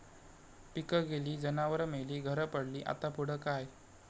पिकं गेली, जनावरं मेली, घरं पडली..,आता पुढं काय?